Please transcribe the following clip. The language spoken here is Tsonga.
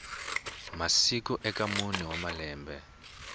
masiku eka mune wa malembe